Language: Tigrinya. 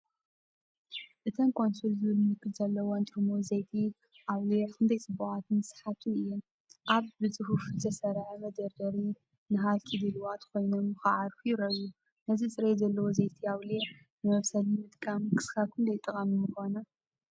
እተን ኮንሱል ዝብል ምልክት ዘለወን ጥርሙዝ ዘይቲ ኣውሊዕ ክንደይ ጽቡቓትን ሰሓብትን እየን! ኣብ ብጽፉፍ ዝተሰርዐ መደርደሪ፡ ንሃልኪ ድሉዋት ኮይኖም ክዓርፉ ይረኣዩ። ነዚ ጽሬት ዘለዎ ዘይቲ ኣውሊዕ ንመብሰሊ ምጥቃም ክሳብ ክንደይ ጠቓሚ ምኾነ?